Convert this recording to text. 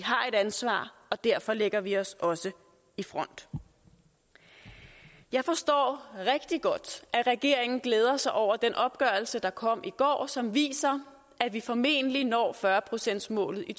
ansvar og derfor lægger vi os også i front jeg forstår rigtig godt at regeringen glæder sig over den opgørelse der kom i går som viser at vi formentlig når fyrre procentsmålet i